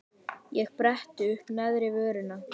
Ég bretti uppá neðri vörina.